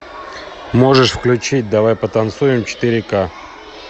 можешь включить давай потанцуем четыре ка